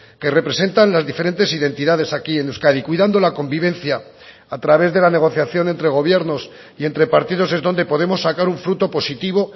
que representan las diferentes identidades aquí en euskadi cuidando la convivencia a través de la negociación entre gobiernos y entre partidos es donde podemos sacar un fruto positivo